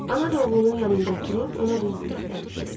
Ana da oğlunun yanında oturub ona qulluq göstərmişdi.